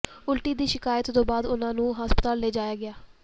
ਉਲਟੀ ਦੀ ਸ਼ਿਕਾਇਤ ਤੋਂ ਬਾਅਦ ਉਨ੍ਹਾਂ ਨੂੰ ਹਸਪਤਾਲ ਲਿਜਾਇਆ ਗਿਆ